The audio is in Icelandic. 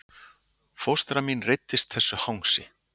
Fóstra mín reiddist þessu hangsi